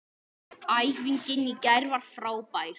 Æfingin í gær var frábær.